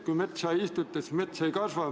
Kui metsa ei istuta, siis mets ei kasva.